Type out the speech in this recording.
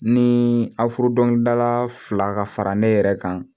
Ni aw furu dɔnkilidala fila ka fara ne yɛrɛ kan